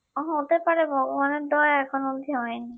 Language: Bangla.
কখন হতে পারে ভগবানের দয়ায় এখন অব্দি হয় নি